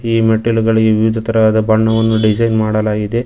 ಈ ಮೆಟ್ಟಿಲುಗಳಿಗೆ ವಿವಿಧ ತರವಾದ ಬಣ್ಣವನ್ನು ಡಿಸೈನ್ ಮಾಡಲಾಗಿದೆ.